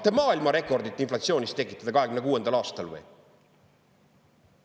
Tahate maailmarekordit inflatsioonis tekitada 2026. aastal?!